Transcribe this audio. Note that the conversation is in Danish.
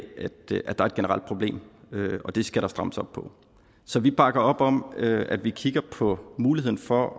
at der er et generelt problem og det skal der strammes op på så vi bakker op om at vi kigger på muligheden for